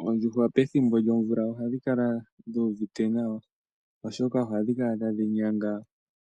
Oondjuhwa pethimbo lyomvula ohadhi kala dhuuvite nawa oshoka ohadhi kala tadhi nyanga